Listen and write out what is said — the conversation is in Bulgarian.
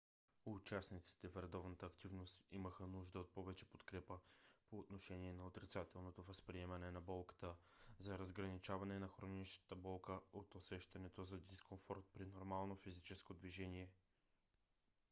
участниците в редовната активност имаха нужда от повече подкрепа по отношение на отрицателното възприемане на болката за разграничаване на хроничната болка от усещането за дискомфорт при нормалното физическо движение